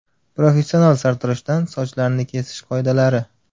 Professional sartaroshdan sochlarni kesish qoidalari.